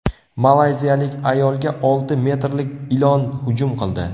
Malayziyalik ayolga olti metrlik ilon hujum qildi.